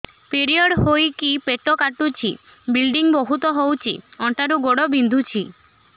period ହୋଇକି ପେଟ କାଟୁଛି ବ୍ଲିଡ଼ିଙ୍ଗ ବହୁତ ହଉଚି ଅଣ୍ଟା ରୁ ଗୋଡ ବିନ୍ଧୁଛି